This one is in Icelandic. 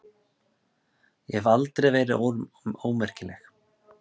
Ég hef aldrei verið ómerkileg.